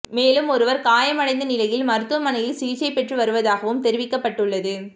மேலும் ஒருவர் காயமடைந்த நிலையில் மருத்துவமனையில் சிகிச்சை பெற்று வருவதாகவும் தெரிவிக்கப்பட்டுள்ளது